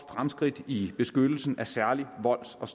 fremskridt i beskyttelsen af særlig volds og